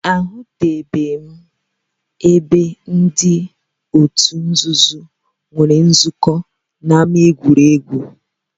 Ahụtụbeghị m ebe ndị otu nzuzo nwere nzukọ n'ámá egwuregwu